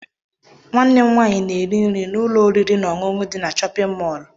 Nwanne m nwaanyị na-eri nri n'ụlọ oriri na ọṅụṅụ dị na chọpịn mọọlụ.